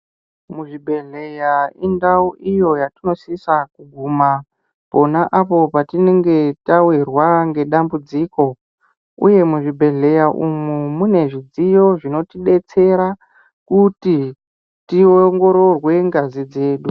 Muzvibhedhlera indau iyo yatinosisa pona apo patinenge tawirwa nedambudziko uye muzvibhedhlera umu munezvidziyo zvinotidetsera kuti tiongororwe ngazi dzedu.